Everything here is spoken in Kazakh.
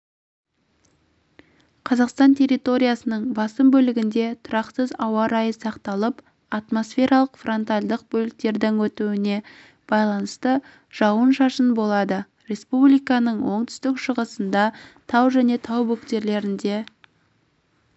қазақстан территориясының басым бөлігінде тұрақсыз ауа райы сақталып атмосфералық фронтальдық бөліктердің өтуіне байланысты жауын-шашын болады республиканың оңтүстік-шығысында тау және тау бөктерлі